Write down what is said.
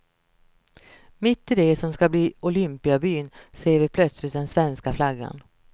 Mitt i det som ska bli olympiabyn ser vi plötsligt den svenska flaggan.